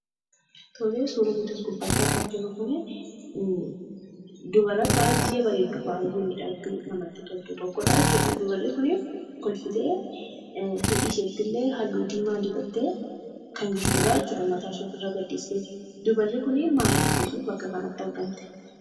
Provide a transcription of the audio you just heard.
Tolee, suuraan nuti as gubbaatti argaa jirru kunii dubara baay'ee bareeddu ,baay, ee miidhagdu namatti toltu tokkodha dubarri kuni kolfitee hidhiisheettillee haalluu diimaa dibattee kan jirtudha jechuudha mataashii ofirra gadhiistee. Dubarri kuni maal agarsiisuuf bakka kanatti argamte?